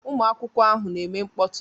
Ụmụ akwụkwọ ahụ na-eme mkpọtụ